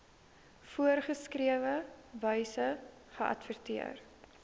voorgeskrewe wyse geadverteer